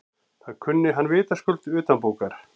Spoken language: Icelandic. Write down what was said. Það kunni hann vitaskuld utanbókar.